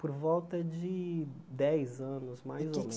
Por volta de dez anos, mais ou E o que